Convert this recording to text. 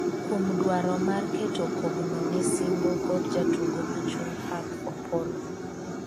kuom dwaro mar keto kogno ne singo kod jatugo ma chuny pap Opollo ,